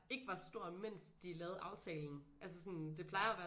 Ikke var stor imens de lavede aftalen altså sådan det plejer at være